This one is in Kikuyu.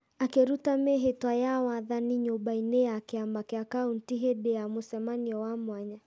akĩruta mĩĩhĩtwa ya wathani nyũmba-inĩ ya kĩama kĩa kauntĩ hĩndĩ ya mũcemanio wa mwanya.